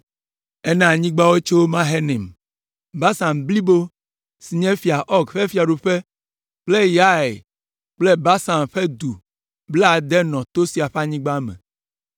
Ena anyigba wo tso Mahanaim. Basan blibo si nye Fia Ɔg ƒe fiaɖuƒe kple Yair kple Basan ƒe du blaade nɔ to sia ƒe anyigba me.